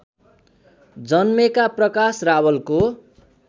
जन्मेका प्रकाश रावलको